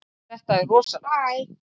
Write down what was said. Þetta er rosalegt.